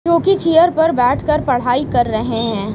Chair पर बैठकर पढ़ाई कर रहे हैं।